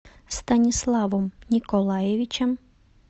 станиславом николаевичем